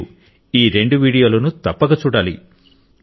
మీరు ఈ రెండు వీడియోలను తప్పక చూడాలి